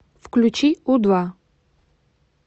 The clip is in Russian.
включи у два